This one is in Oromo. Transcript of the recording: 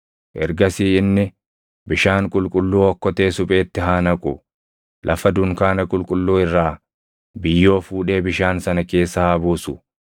Ergasii inni bishaan qulqulluu okkotee supheetti haa naqu; lafa dunkaana qulqulluu irraa biyyoo fuudhee bishaan sana keessa haa buusu.